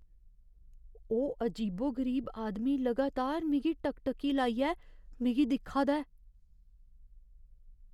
ओह् अजीबो गरीब आदमी लगातार मिगी टकटकी लाइयै मिगी दिक्खा दा ऐ।